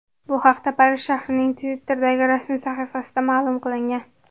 Bu haqda Parij shahrining Twitter’dagi rasmiy sahifasida ma’lum qilingan .